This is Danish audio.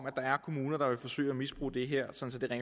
at der er kommuner der vil forsøge at misbruge det her sådan at